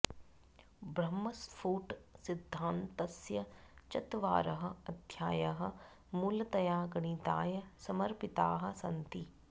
ब्रह्मस्फुट सिद्धान्तस्य चत्वारः अध्यायाः मूलतया गणिताय समर्पिताः सन्ति